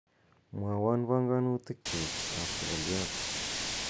mwowon panganutik kyuk ab twolyot